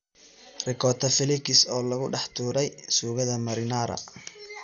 Ricotta flakes oo lagu dhex tuuray suugada marinara.